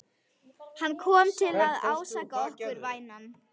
Hann kom til að ásaka okkur, vænan.